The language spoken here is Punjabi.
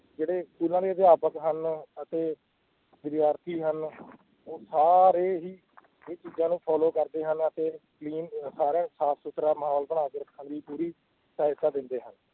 ਜਿਹੜੇ ਸਕੂਲਾਂ ਦੇ ਅਧਿਆਪਕ ਹਨ ਅਤੇ ਵਿਦਿਆਰਥੀ ਹਨ ਉਹ ਸਾਰੇ ਹੀ ਇਹ ਚੀਜ਼ਾਂ ਨੂੰ follow ਕਰਦੇ ਹਨ ਅਤੇ ਸਾਰਾ ਸਾਫ਼ ਸੁਥਰਾ ਮਾਹੌਲ ਬਣਾ ਕੇ ਰੱਖਣ ਦੀ ਪੂਰੀ ਸਹਾਇਤਾ ਦਿੰਦੇ ਹਨ,